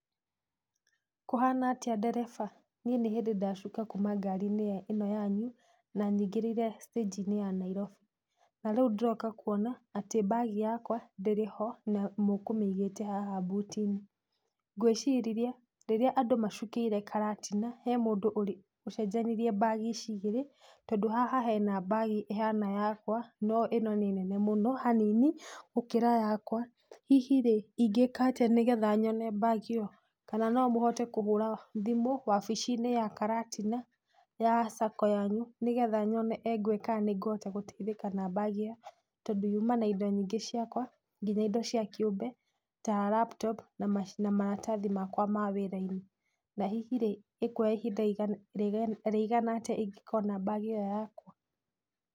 Kũhana atĩa ndereba? Niĩ nĩ hĩndĩ ndacuka kuma ngar-inĩ ĩno yanyu na nyingĩrĩire stanji-inĩ ya Nairobi na rĩu ndĩroka kuona atĩ mbagi yakwa ndĩrĩ ho na mũkũmĩigĩte haha mbuti-inĩ, ngwĩciria rĩrĩa andũ macukĩire karatina, he mũndũ ũrĩ ũcenjanirie mbagi ici igĩrĩ tondũ haha hena mbagi ĩhana yakwa no ĩno nĩ nene mũno hanini gũkĩra yakwa. Hihi rĩ ingĩka atĩa nigetha nyone mbagi ĩyo? Kana nomũhote kũhũra thimũ wabici-inĩ ya karatina ya sacco yanyu nĩgetha nyone kana engwe nĩngũhota gũteithĩka na mbagi yakwa tondũ yuma na indo nyingĩ ciakwa nginya ido cia kĩũmbe ta laptop na maratathi makwa ma wĩra-inĩ. Na hihi rĩ, ĩkwoya ihinda rĩigana atĩa ingĩkona mbagi ĩyo yakwa?